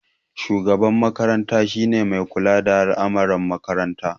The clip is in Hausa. Shugaban makaranta ne mai kula da al'amarin makaranta.